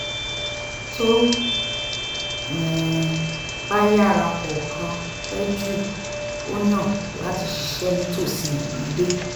tó um bá yára kọ̀ọ̀kan pẹ̀ jù ó yàn láti ṣiṣẹ́ nítòsí ilé